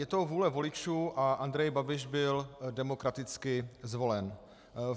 Je to vůle voličů a Andrej Babiš byl demokraticky zvolen.